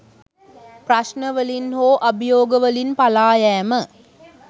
ප්‍රශ්නවලින් හෝ අභියෝග වලින් පලායෑම